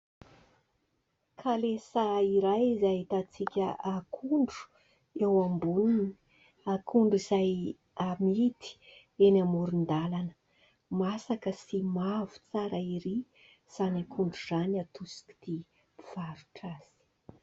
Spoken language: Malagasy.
Kalesa iray izay ahitantsika akondro eo amboniny. Akondro izay amidy eny amoron-dalana. Masaka sy mavo tsara erỳ izany akondro izany, atosiky ny mpivarotra azy.